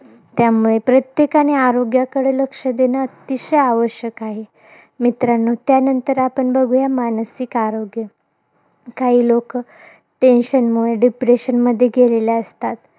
त्यामुळे प्रत्येकाने आरोग्याकडे लक्ष देणं अतिशय आवश्यक आहे. मित्रांनो, त्यानंतर आपण बघुया, मानसिक आरोग्य. काही लोकं, tension मुळे, depression मध्ये गेलेले असतात.